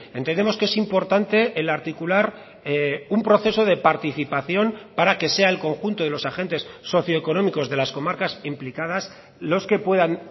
entendemos que es importante el articular un proceso de participación para que sea el conjunto de los agentes socioeconómicos de las comarcas implicadas los que puedan